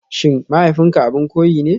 SHIN mahaifinka abin koyi ne?